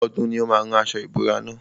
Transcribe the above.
Ọdún ni ó má a rán aṣo ìbora na.